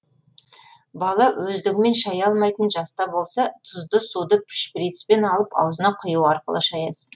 бала өздігімен шая алмайтын жаста болса тұзды суды шприцпен алып аузына құю арқылы шаясыз